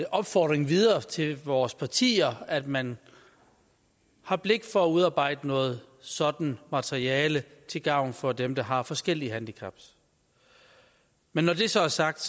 opfordring videre til vores partier at man har blik for at udarbejde noget sådant materiale til gavn for dem der har forskellige handicap men når det så er sagt